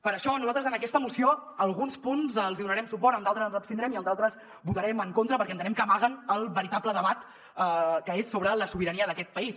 per això nosaltres en aquesta moció a alguns punts els hi donarem suport en d’altres ens abstindrem i en d’altres hi votarem en contra perquè entenem que ama·guen el veritable debat que és sobre la sobirania d’aquest país